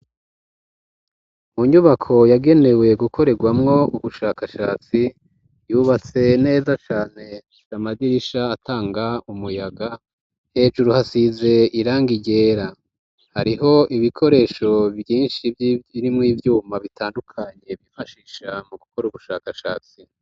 Munyubako yagenewe gukoregwamwo ubushakashatsi yubatse neza cane n'amadirisha atanga umuyaga, hejuru hasize irangi ryera hariho ibikoresho vyinshi vy'abarimu ivyuma bitandukanye bifashisha mu gukora ubushakashatsi.